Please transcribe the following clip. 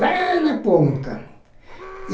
Lá na ponta. E